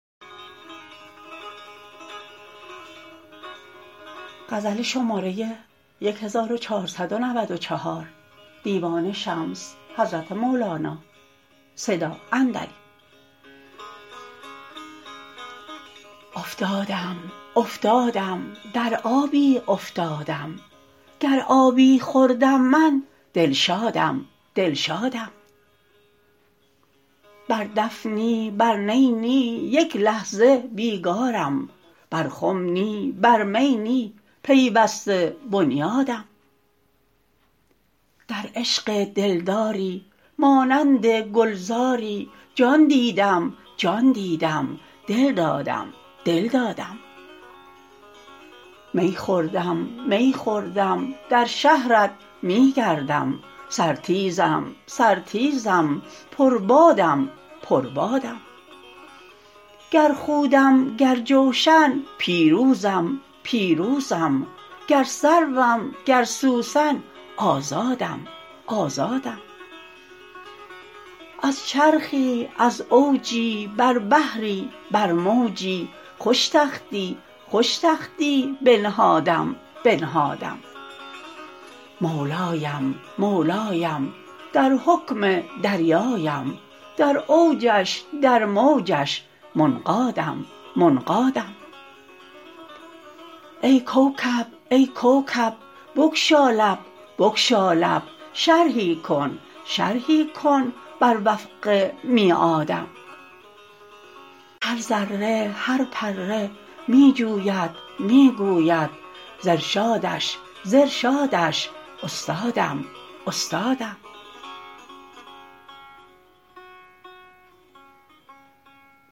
افتادم افتادم در آبی افتادم گر آبی خوردم من دلشادم دلشادم بر دف نی بر نی نی یک لحظه بیگارم بر خم نی بر می نی پیوسته بنیادم در عشق دلداری مانند گلزاری جان دیدم جان دیدم دل دادم دل دادم می خوردم می خوردم در شهرت می گردم سرتیزم سرتیزم پربادم پربادم گر خودم گر جوشن پیروزم پیروزم گر سروم گر سوسن آزادم آزادم از چرخی از اوجی بر بحری بر موجی خوش تختی خوش تختی بنهادم بنهادم مولایم مولایم در حکم دریایم در اوجش در موجش منقادم منقادم ای کوکب ای کوکب بگشا لب بگشا لب شرحی کن شرحی کن بر وفق میعادم هر ذره هر پره می جوید می گوید ز ارشادش ز ارشادش استادم استادم